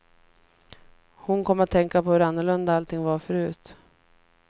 Hon kom att tänka på hur annorlunda allting var förut.